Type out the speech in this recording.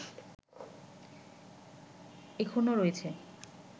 এখনো রয়েছে